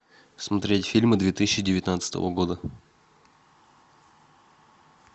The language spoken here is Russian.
смотреть фильмы две тысячи девятнадцатого года